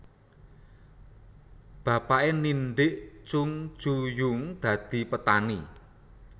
Bapake ndhidhik Chung Ju Yung dadi petani